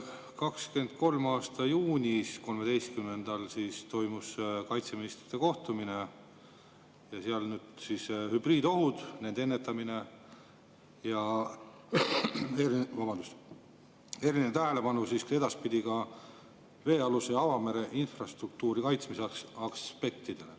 2023. aasta 13. juunil toimus kaitseministrite kohtumine ja seal hübriidohud, nende ennetamine ja eriline tähelepanu edaspidi ka veealuse avamere infrastruktuuri kaitsmise aspektidele.